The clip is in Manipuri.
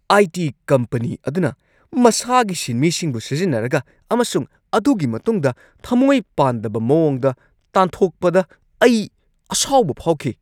ꯑꯥꯏ. ꯇꯤ. ꯀꯝꯄꯅꯤ ꯑꯗꯨꯅ ꯃꯁꯥꯒꯤ ꯁꯤꯟꯃꯤꯁꯤꯡꯕꯨ ꯁꯤꯖꯤꯟꯅꯔꯒ ꯑꯃꯁꯨꯡ ꯑꯗꯨꯒꯤ ꯃꯇꯨꯡꯗ ꯊꯃꯣꯢ ꯄꯥꯟꯗꯕ ꯃꯑꯣꯡꯗ ꯇꯥꯟꯊꯣꯛꯄꯗ ꯑꯩ ꯑꯁꯥꯎꯕ ꯐꯥꯎꯈꯤ ꯫